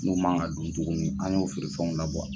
Mun man ka dun tuguni an y'o feerefɛnw labɔ.